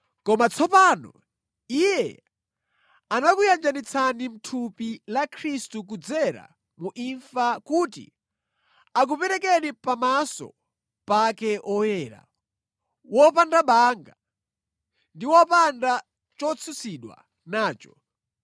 Koma tsopano Iye anakuyanjanitsani mʼthupi la Khristu kudzera mu imfa kuti akuperekeni pamaso pake oyera, opanda banga ndi opanda chotsutsidwa nacho